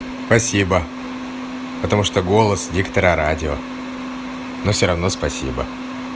спасибо потому что голос диктора радио но всё равно спасибо